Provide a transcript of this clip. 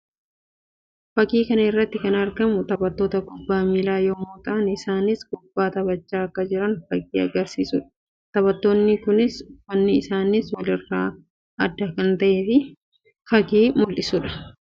Fakkii kana irratti kan argamu taphattoota kubbaa miillaa yammuu ta'an; isaannis kubbaa taphachaa akka jiran fakkii agarsiisuu dha. Taphattoonni kunis uffanni isaaniis wal irraa adda akka ta'e fakkii mul'isuu dha.